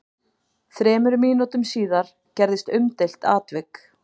Þremur mínútum síðar gerðist umdeilt atvik.